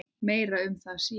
Meira um það síðar.